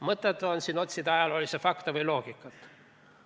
Mõttetu on siin otsida ajaloofakte või loogikat.